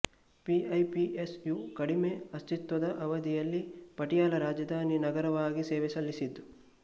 P E P S U ಕಡಿಮೆ ಅಸ್ತಿತ್ವದ ಅವಧಿಯಲ್ಲಿ ಪಟಿಯಾಲ ರಾಜಧಾನಿ ನಗರವಾಗಿ ಸೇವೆ ಸಲ್ಲಿಸಿದೆ